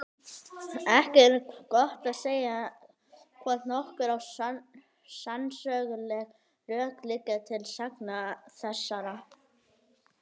Ekki er gott að segja, hvort nokkur sannsöguleg rök liggja til sagna þessara.